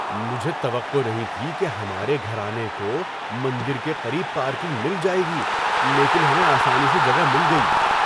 مجھے توقع نہیں تھی کہ ہمارے گھرانے کو مندر کے قریب پارکنگ مل جائے گی لیکن ہمیں آسانی سے جگہ مل گئی۔